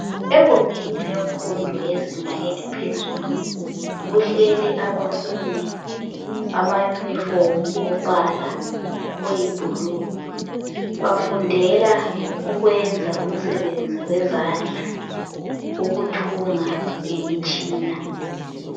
Egumbini lemfundo yezinga eliphezulu. Kuhleli abafundi amayunifomu ombala oyibhulu. Bafundela ukwenza umsebenzi wezandla ukuthunga ngemitshina.